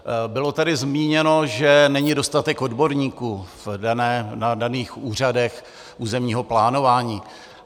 Bylo tady zmíněno, že není dostatek odborníků na daných úřadech územního plánování.